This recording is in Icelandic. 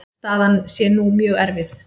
Staðan sé nú mjög erfið.